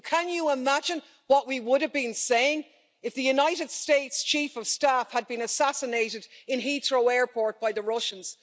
Can you imagine what we would have been saying if the United States' Chief of Staff had been assassinated in Heathrow Airport by the Russians?